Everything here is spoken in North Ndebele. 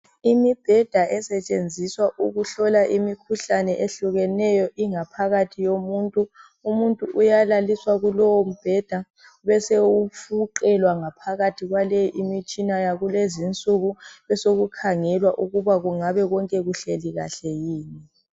Imibheda esetshenziswa ukuhlola imikhuhlane ehlukeneyo, ingaphakathi yomuntu. Umuntu uyalaliswa kulowo mbheda, besewufuqelwa ngaphakathi kwaleyi imitshina yalezinsuku. Besokukhangelwa ukuba kungabe konke kuhleli kahle yini.